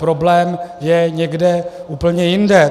Problém je někde úplně jinde.